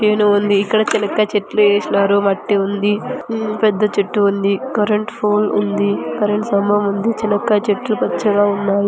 ఇక్కడ చేను ఉంది ఇక్కడ చెన్నక్కాయ చెట్లు వేసినారు మట్టి ఉంది ఊ పెద్ద చెట్టు ఉంది కరెంట్ పోల్ ఉంది కరెంట్ స్థంభం ఉంది చెనక్కాయ చెట్లు పచ్చగా ఉన్నాయి.